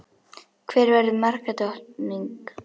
Hver verður markadrottning?